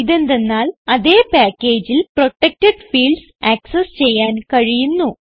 ഇതെന്തന്നാൽ അതേ packageൽ protected fields access ചെയ്യാൻ കഴിയുന്നു